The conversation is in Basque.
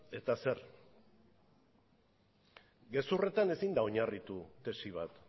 eta zer gezurretan ezin da oinarritu tesi bat